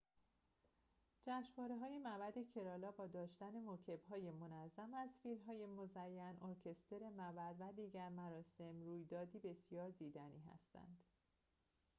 جشنواره‌های معبد کرالا با داشتن موکب‌های منظم از فیل‌های مزین ارکستر معبد و دیگر مراسم رویدادی بسیار دیدنی هستند